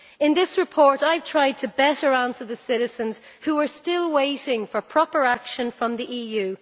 In this report I have tried to better answer the citizens who are still waiting for proper action from the EU.